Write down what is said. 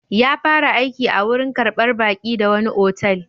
Ya fara aiki a warin karɓar baki da wani otal.